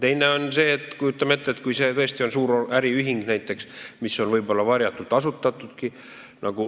Teiseks kujutame ette näiteks suurt äriühingut, mis on võib-olla varjatult asutatud.